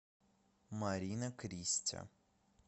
марина кристя